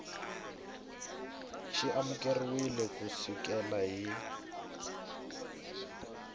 xi amukeriwile ku sukela hi